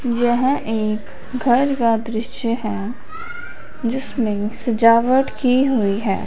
यह एक घर का दृश्य है जिसमें सजावट की हुई है।